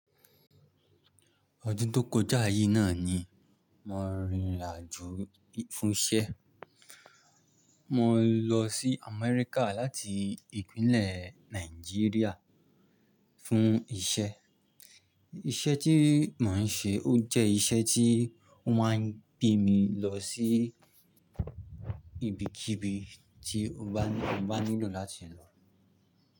Ọdún tó kọjá yí náà ni mo rin ìrìn àjò fún iṣẹ́. Mo lọ sí Amẹ́ríkà láti ìpínlẹ̀ Nàìjíríà fún iṣẹ́. Iṣẹ́ tí mo ń ṣe, ó jẹ́ iṣẹ́ tí ó máa ń gbé mi lọ sí ibikíbi tí mo bá nílò láti lọ.